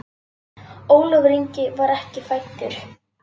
Ólafur Ingi var ekki fæddur.